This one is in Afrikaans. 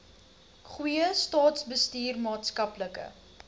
goeie staatsbestuur maatskaplike